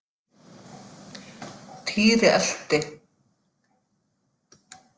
Týri elti.